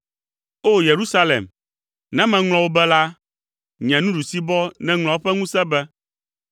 O! Yerusalem, ne meŋlɔ wò be la, nye nuɖusibɔ nèŋlɔ eƒe ŋusẽ be,